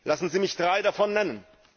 Lassen Sie mich drei davon nennen.